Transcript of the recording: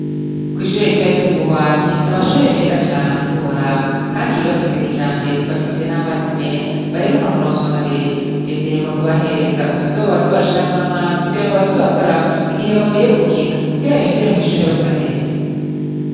Kw'ishure ritoya ryo mubuhwamyi ,n'amashurwe meza cane ntiworaba, kandi yubakitse kijambere ,bafise n'amazi meza, baheruka kuronswa na reta, reta iheruka kubahereza utodobo baza barashiramw'amazi ,kugira ngo baze barakaraba, igihe bavuye gukina ,kugira binjire mw'ishure basa neza.